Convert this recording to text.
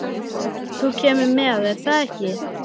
Þú kemur með, er það ekki?